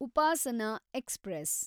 Upasana express